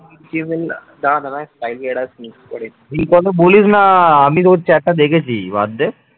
এই কথা বলিস না আমি তোর chat টা দেখেছি বাদ দে